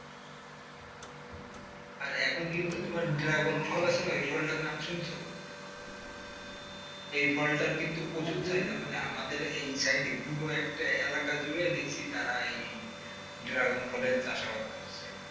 এখন কিন্তু তোমার ড্রাগন ফল আসে না এই ফলটার নাম শুনেছ এই ফলটার কিন্তু প্রচুর চাহিদা, মানে আমাদের এই সাইডে পড়বো একটা এলাকা দেখি তারা এই ড্রাগন ফলের চাষাবাদ করছে.